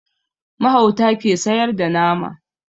Mahauta ke sayar da nama